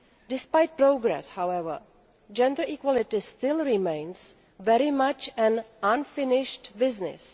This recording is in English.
Despite progress, however, gender equality still remains very much unfinished business.